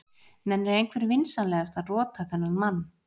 Nennir einhver vinsamlegast að rota þennan mann.